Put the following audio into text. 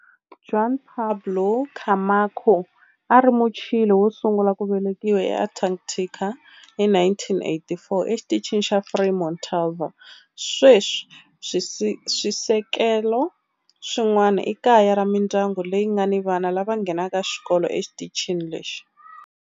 Juan Pablo Camacho a a ri Muchile wo sungula ku velekiwa eAntarctica hi 1984 eXitichini xa Frei Montalva. Sweswi swisekelo swin'wana i kaya ra mindyangu leyi nga ni vana lava nghenaka xikolo exitichini lexi.